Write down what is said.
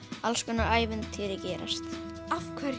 alls konar ævintýri gerast